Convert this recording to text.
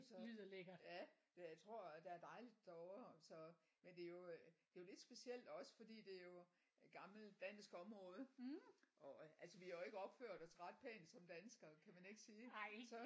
Så ja det tror der er dejligt derovre så men det er jo det er lidt specielt også fordi det er jo øh gammelt dansk område og altså vi har jo ikke opført os ret pænt som danskere kan man ikke sige så